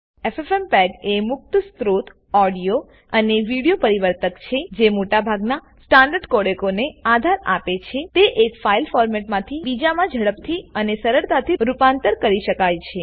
ffmpegએ મુક્ત સ્ત્રોત ઓડીઓ અને વિડીઓ પરિવર્તક છેજે મોટા ભાગના સ્ટાન્ડર્ડ કોડેકોને આધાર આપે છેતે એક ફાઈલ ફોરમેટમાંથી બજામાં ઝડપથી અને સરળતાથી રૂપાંતર કરી શકાય છે